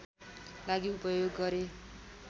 लागि उपयोग गरे